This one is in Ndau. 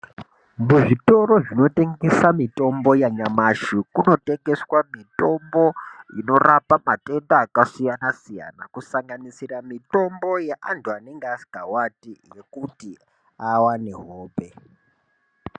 Muzvitoro zvinotengesa mitombo yanyamashi kunotengeswa mitombo inorapa matenda akasiyana siyana kusanganisira mitombo yeantu anenge asingawati yekuti awane hope.